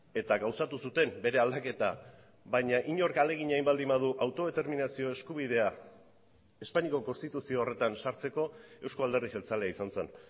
eta gauzatu zuten bere aldaketa baina inork ahalegina egin baldin badu autodeterminazio eskubidea espainiako konstituzio horretan sartzeko euzko alderdi jeltzalea izan zen